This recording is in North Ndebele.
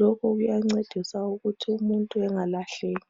lokhu kuyancedisa ukuthi umuntu engalahleki